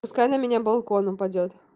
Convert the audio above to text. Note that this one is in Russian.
пускай на меня балконом упадёт